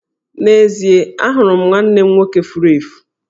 N'ezie, ahụrụ m nwanne m nwoke furu efu.